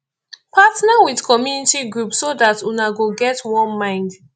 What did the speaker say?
partner with community group so dat una go get one mind